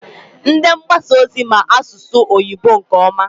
Ndị mgbasa ozi ma asụ oyibo nke ọma.